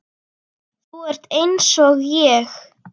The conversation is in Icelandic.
Þú ert einsog ég.